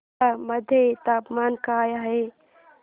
अंबाला मध्ये तापमान काय आहे